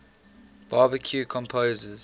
baroque composers